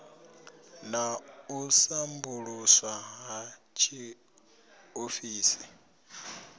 na u sambuluswa ha tshiofisi